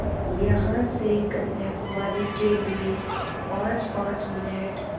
यहाँ से कन्याकुमारी के लिए पाँचपाँच मिनट